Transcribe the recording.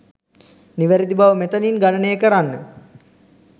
නිවැරදි බව මෙතනින් ගණනය කරන්න.